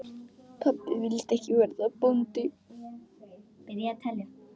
Pabbi vildi ekki verða bóndi.